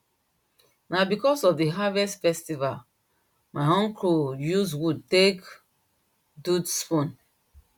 na because of the harvest festival my uncle use wood take so spoon